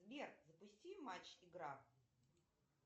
сбер запусти матч игра